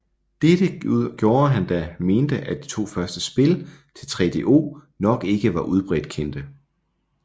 Dette gjorde han da han mente at de to første spil til 3DO nok ikke var udbredt kendte